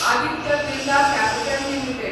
Aditya Birla capital limited